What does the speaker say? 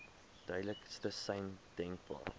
duidelikste sein denkbaar